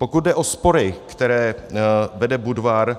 Pokud jde o spory, které vede Budvar,